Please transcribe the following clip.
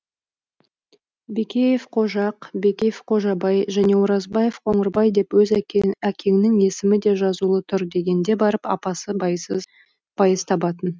бекеев қожақ бекеев қожабай және оразбаев қоңырбай деп өз әкеңнің есімі де жазулы тұр дегенде барып апасы байыз табатын